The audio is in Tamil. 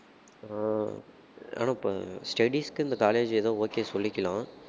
ஆஹ் ஆனா இப்ப studies க்கு இந்த college ஏதோ okay சொல்லிக்கலாம்